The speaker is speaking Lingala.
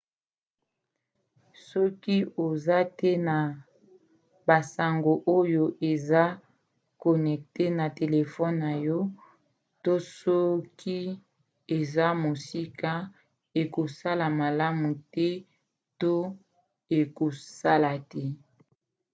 soki oza te na basango oyo eza connecte na telefone na yo to soki eza mosika ekosala malamu te to ekosala te